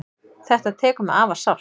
Þetta tekur mig afar sárt.